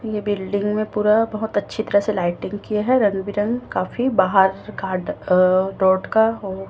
building में पूरा बहोत अच्छी तरह से लाइटिंग किया है रंग बिरंग काफी बाहर का अह रोड का हो --